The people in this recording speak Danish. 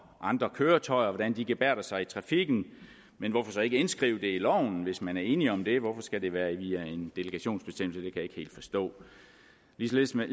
andre køretøjer gebærder sig i trafikken men hvorfor så ikke indskrive det i loven hvis man er enig om det hvorfor skal det så være via en delegationsbestemmelse det kan jeg ikke helt forstå ligeledes med